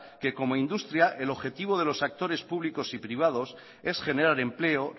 que como industria el objetivo de los actores públicos y privados es generar empleo